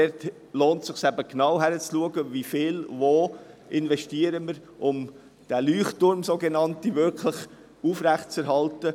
Es lohnt sich, genau hinzuschauen, wie viel wir wo investieren, um diesen sogenannten Leuchtturm aufrechtzuerhalten.